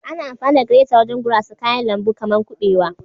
Ana amfani da gireta wajen gurasa kayan lambu kaman kubewa.